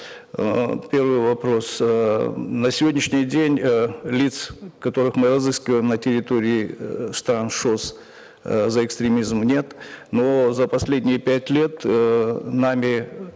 эээ первый вопрос эээ на сегодняшний день э лиц которых мы разыскиваем на территории эээ стран шос э за экстремизм нет но за последние пять лет эээ нами